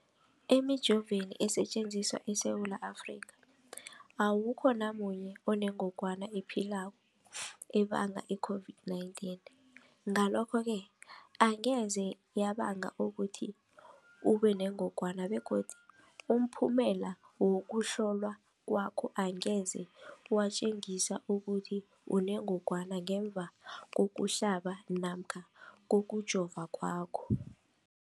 Emijoveni esetjenziswa eSewula Afrika, awukho namunye onengog wana ephilako ebanga i-COVID-19. Ngalokho-ke angeze yabanga ukuthi ubenengogwana begodu umphumela wokuhlolwan kwakho angeze watjengisa ukuthi unengogwana ngemva kokuhlaba namkha kokujova kwakho.